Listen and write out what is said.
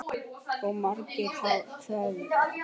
Maður ypptir ekki öxlum.